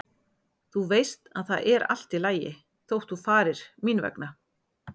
Þú veist að það er allt í lagi þótt þú farir mín vegna.